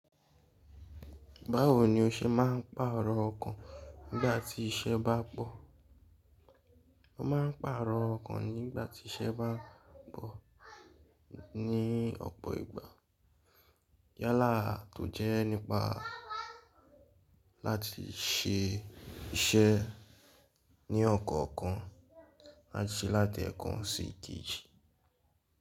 Báwo ni o ṣe máà ń pààrọ̀ ọkàn nígbàtí iṣẹ́ bá pọ̀? Mọ máà ń pààrọ̀ ọkàn nígbàtí iṣẹ́ bá ń pọ̀ ní ọ̀pọ̀ ìgbà. Yálà to jẹ́ nípa láti ṣẹ iṣẹ́ ní ọ̀kọ̀ọ̀kan láti láti ẹ̀kan sí èkejì.